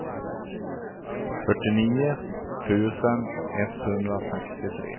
fyrtionio tusen etthundrasextiotre